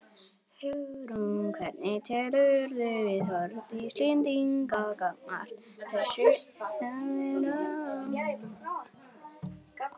Hugrún: Hvernig telurðu viðhorf Íslendinga gagnvart þessu vera?